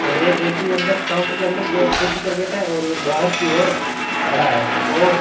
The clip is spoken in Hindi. और एक व्यक्ति अंदर काउंटर के अंदर की ओर कुर्सी पर बैठा है और एक बाहर की ओर खड़ा है और --